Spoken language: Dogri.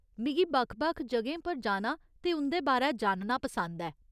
मिगी बक्ख बक्ख जगहें पर जाना ते उं'दे बारै जानना पसंद ऐ।